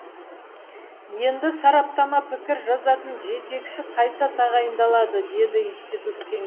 енді сараптама пікір жазатын жетекші қайта тағайындалады деді институт кеңесі